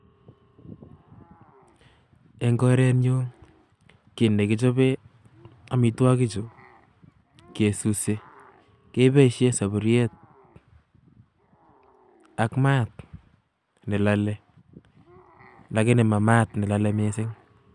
Eng korenyun kiit nekichoben amitwokichuu kesutee keboishen sufuriet ak maat nelolee lagini ma maat nelolee mising